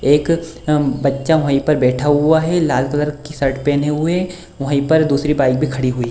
एक बच्चा वहीं पर बैठा हुआ है लाल कलर की शर्ट पहने हुए है वहीं पर दूसरी बाइक भी खड़ी हुई है ।